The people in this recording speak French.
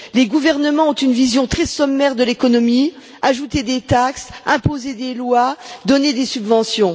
Les gouvernements ont une vision très sommaire de l'économie ajouter des taxes, imposer des lois, donner des subventions.